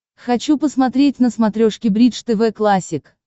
хочу посмотреть на смотрешке бридж тв классик